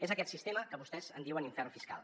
és aquest sistema que vostès en diuen infern fiscal